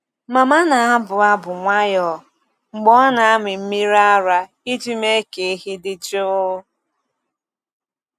Mama na-abụ abụ nwayọọ mgbe ọ na-amị mmiri ara iji mee ka ehi dị jụụ.